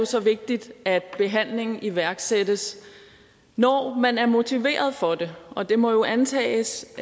så vigtigt at behandlingen iværksættes når man er motiveret for det og det må jo antages